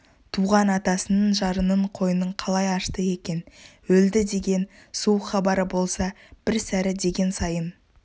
туған атасының жарының қойнын қалай ашты екен өлді деген суық хабары болса бір сәрі деген сайын